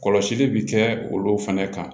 Kɔlɔsili bi kɛ olu fɛnɛ kan